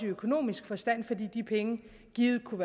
økonomisk forstand fordi de penge givet kunne